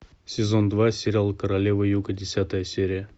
сезон два сериал королева юга десятая серия